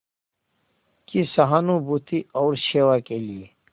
की सहानुभूति और सेवा के लिए